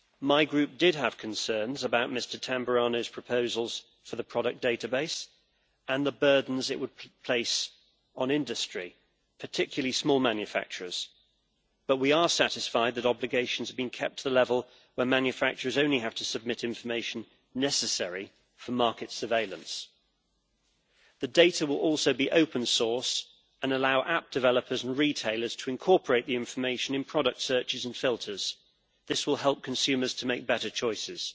My Group did have concerns about Mr Tamburrano's proposals for the product database and the burdens it would place on industry, particularly small manufacturers, but we are satisfied that obligations have been kept to the level where manufacturers only have to submit information necessary for market surveillance. The data will also be open source and allow app developers and retailers to incorporate the information in product searches and filters. This will help consumers to make better choices.